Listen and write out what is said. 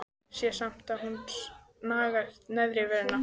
Sé samt að hún nagar neðri vörina.